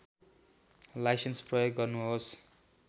licence प्रयोग गर्नुहोस